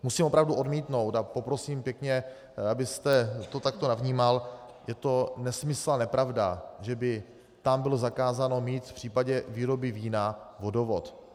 Musím opravdu odmítnout, a poprosím pěkně, abyste to takto nevnímal, je to nesmysl a nepravda, že by tam bylo zakázáno mít v případě výroby vína vodovod.